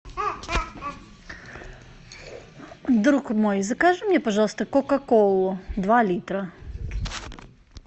друг мой закажи мне пожалуйста кока колу два литра